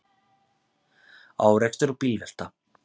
Árekstur og bílvelta